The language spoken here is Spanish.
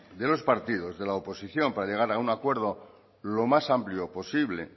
de los partidos de la oposición para llegar a un acuerdo lo más amplio posible